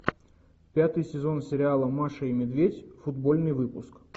пятый сезон сериала маша и медведь футбольный выпуск